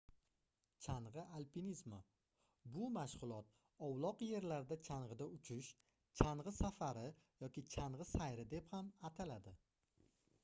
changʻi alpinizmi bu mashgʻulot ovloq yerlarda changʻida uchish changʻi safari yoki changʻi sayri deb ham ataladi